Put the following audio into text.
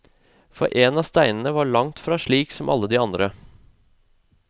For en av steinene var langt fra slik som alle de andre.